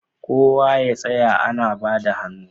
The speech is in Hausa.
Kowa ya tsaya ana bada hannu